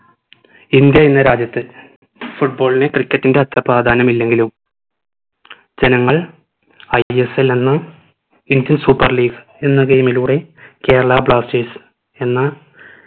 India എന്ന രാജ്യത്ത് football ന് cricket ന്റെ അത്ര പ്രാധാന്യം ഇല്ലെങ്കിലും ജനങ്ങൾ ISL എന്ന Indian super league എന്ന game ലൂടെ കേരള blasters എന്ന